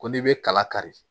Ko n'i bɛ kala kari